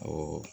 Ɔ